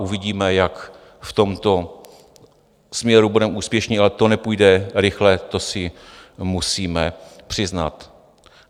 Uvidíme, jak v tomto směru budeme úspěšní, ale to nepůjde rychle, to si musíme přiznat.